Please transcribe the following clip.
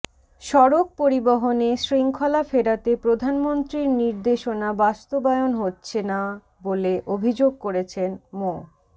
সড়ক পরিবহনে শৃঙ্খলা ফেরাতে প্রধানমন্ত্রীর নির্দেশনা বাস্তবায়ন হচ্ছে না বলে অভিযোগ করেছেন মো